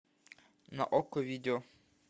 на окко видео